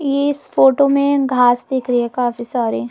ये इस फोटो में घास दिख रही है काफी सारी--